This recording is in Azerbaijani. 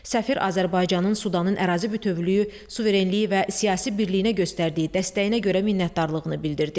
Səfir Azərbaycanın Sudanın ərazi bütövlüyü, suverenliyi və siyasi birliyinə göstərdiyi dəstəyinə görə minnətdarlığını bildirdi.